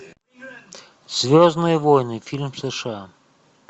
звездные войны фильм сша